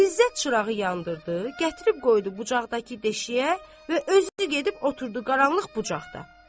İzzət çırağı yandırdı, gətirib qoydu bucaqdakı deşiyə və özü gedib oturdu qaranlıq bucaqda.